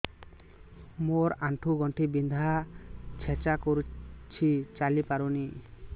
ମୋର ଆଣ୍ଠୁ ଗଣ୍ଠି ବିନ୍ଧା ଛେଚା କରୁଛି ଚାଲି ପାରୁନି